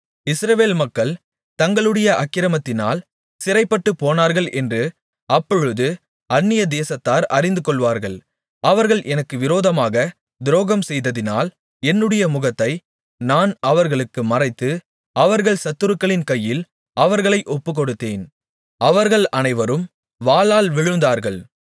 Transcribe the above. இஸ்ரவேல் மக்கள் தங்களுடைய அக்கிரமத்தினால் சிறைப்பட்டுப்போனார்கள் என்று அப்பொழுது அந்நியதேசத்தார் அறிந்துகொள்வார்கள் அவர்கள் எனக்கு விரோதமாகத் துரோகம்செய்ததினால் என்னுடைய முகத்தை நான் அவர்களுக்கு மறைத்து அவர்கள் சத்துருக்களின் கையில் அவர்களை ஒப்புக்கொடுத்தேன் அவர்கள் அனைவரும் வாளால் விழுந்தார்கள்